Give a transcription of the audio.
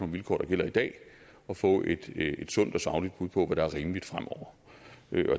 vilkår der gælder i dag og få et sundt og sagligt bud på hvad der er rimeligt fremover